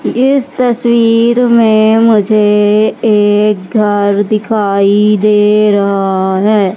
इस तस्वीर में मुझे एक घर दिखाई दे रहा है।